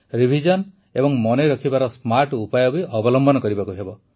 revision ଏବଂ ମନେ ରଖିବାର ସ୍ମାର୍ଟ ଉପାୟ ବି ଅବଲମ୍ବନ କରିବାକୁ ହେବ